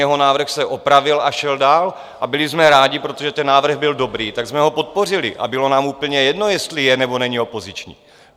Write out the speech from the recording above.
Jeho návrh se opravil a šel dál, a byli jsme rádi, protože ten návrh byl dobrý, tak jsme ho podpořili a bylo nám úplně jedno, jestli je nebo není opoziční.